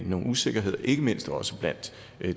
nogle usikkerheder ikke mindst også blandt